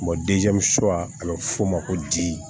a bɛ f'o ma ko di